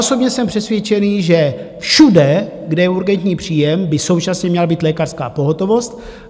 Osobně jsem přesvědčený, že všude, kde je urgentní příjem, by současně měla být lékařská pohotovost.